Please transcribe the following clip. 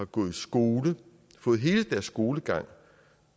gået i skole og fået hele deres skolegang